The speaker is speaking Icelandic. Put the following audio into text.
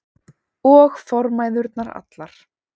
Og formæðurnar allar.